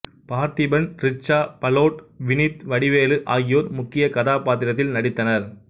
பார்த்திபன் ரிச்சா பலோட் வினித் வடிவேலு ஆகியோர் முக்கிய கதாப்பாத்திரத்தில் நடித்தனர்